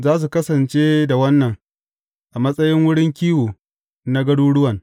Za su kasance da wannan a matsayin wurin kiwo na garuruwan.